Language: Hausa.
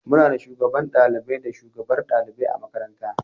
Muna da Shugaban ɗalibai da shugabar ɗalibai a makaranta.